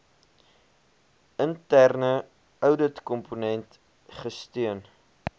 interne ouditkomponent gesteun